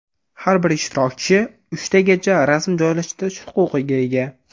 Har bir ishtirokchi uchtagacha rasm joylashtirish huquqiga ega.